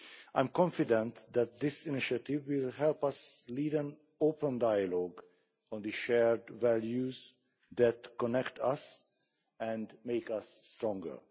I am confident that this initiative will help us lead an open dialogue on the shared values that connect us and make us stronger.